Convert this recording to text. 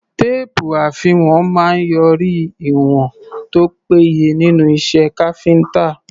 Téèpù àfiwọ̀n máa ń yọrí ìwọ̀n tó péye nínú iṣẹ́ káfíńtà.